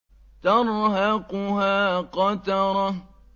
تَرْهَقُهَا قَتَرَةٌ